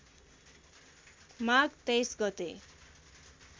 माघ २३ गते